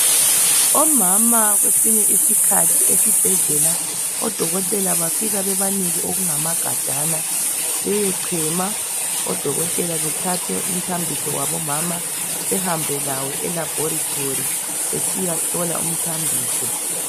Omama kwesinye isikhathi esibhedlela oDokotela bafika babanike okungamagajana beyechema. Odokotela bethathe umthambiso wabomama behambe lawo elaboratory besiyahlola umthambiso.